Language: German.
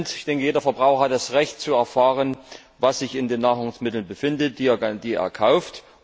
Ich denke, jeder Verbraucher hat das Recht zu erfahren, was sich in den Nahrungsmitteln befindet, die er kauft.